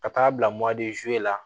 Ka taa bila la